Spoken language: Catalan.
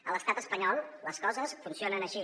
a l’estat espanyol les coses funcionen així